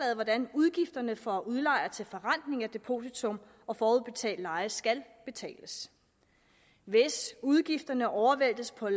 hvordan udgifterne for udlejere til forrentning af depositum og forudbetalt leje skal betales hvis udgifterne overvæltes på